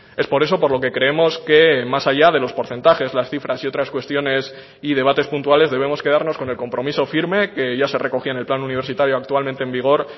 es por eso por lo que creemos que más allá de los porcentajes las cifras y otras cuestiones y debates puntuales debemos quedarnos con el compromiso firme que ya se recogía en el plan universitario actualmente en vigor